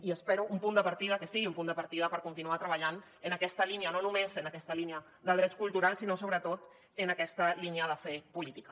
i espero que sigui un punt de partida per continuar treballant en aquesta línia no només en aquesta línia de drets culturals sinó sobretot en aquesta línia de fer política